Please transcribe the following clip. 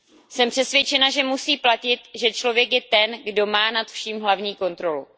Jsem přesvědčena, že musí platit, že člověk je ten, kdo má nad vším hlavní kontrolu.